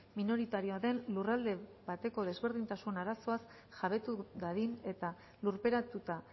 minoritarioa den lurralde bateko desberdintasun arazoaz jabetu dadin eta lurperatuta